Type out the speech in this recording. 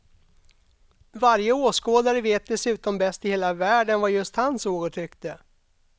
Varje åskådare vet dessutom bäst i hela världen vad just han såg och tyckte.